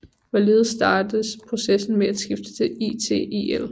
Hvorledes startes processen med at skifte til ITIL